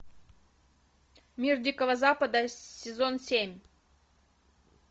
мир дикого запада сезон семь